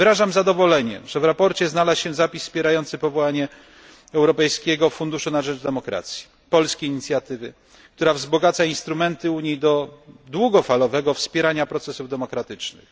Wyrażam zadowolenie, że w raporcie znalazł się zapis wspierający powołanie europejskiego funduszu na rzecz demokracji, polskiej inicjatywy, która wzbogaca instrumenty Unii służące długofalowemu wspieraniu procesów demokratycznych.